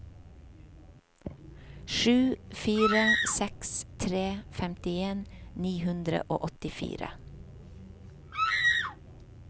sju fire seks tre femtien ni hundre og åttifire